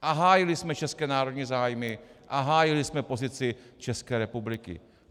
A hájili jsme české národní zájmy a hájili jsme pozici České republiky.